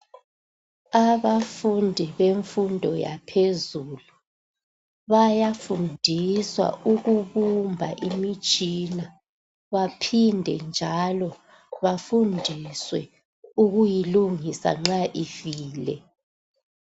Abafundi bemfundo yaphezulu bayafundiswa ukubumba imitshina baphinde njalo bafundiswe ukuyilungisa nxa ifile